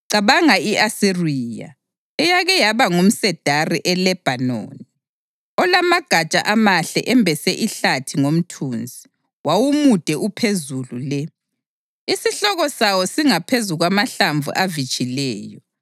Cabanga i-Asiriya, eyake yaba ngumsedari eLebhanoni, olamagatsha amahle embese ihlathi ngomthunzi; wawumude uphezulu le, isihloko sawo singaphezu kwamahlamvu avitshileyo.